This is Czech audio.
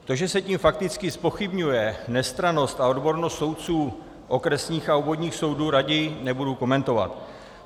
To, že se tím fakticky zpochybňuje nestrannost a odbornost soudců okresních a obvodních soudů, raději nebudu komentovat.